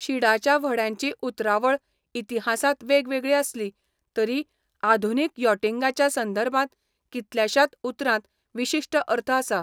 शिडाच्या व्हड्यांची उतरावळ इतिहासांत वेगवेगळी आसली, तरी आधुनीक यॉटिंगाच्या संदर्भांत कितल्याशात उतरांत विशिश्ट अर्थ आसा.